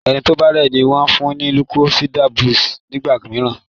ẹní tó o bá rẹ ní wón fún ní lucozade boost nígbàmìíràn.